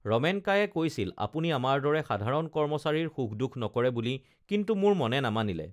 ৰমেন কায়ে কৈছিল আপুনি আমাৰ দৰে সাধাৰণ কৰ্মচাৰীৰ সুখদুখ নকৰে বুলি কিন্তু মোৰ মনে নামানিলে